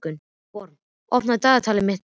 Vorm, opnaðu dagatalið mitt.